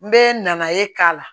N bɛ na ye k'a la